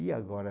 E agora?